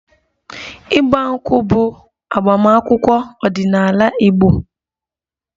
Igba nkwu bụ agbamakwụkwọ ọdinaala igbo